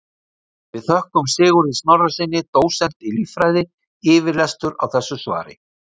Við þökkum Sigurði Snorrasyni dósent í líffræði yfirlestur á þessu svari.